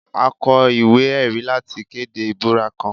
A kọ iwe-ẹri lati kede ibura kan